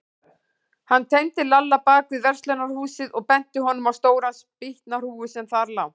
Hann teymdi Lalla bak við verslunarhúsið og benti honum á stóra spýtnahrúgu sem þar lá.